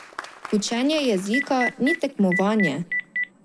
Učenje jezika ni tekmovanje.